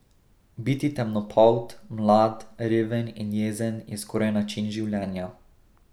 Biti temnopolt, mlad, reven in jezen je skoraj način življenja.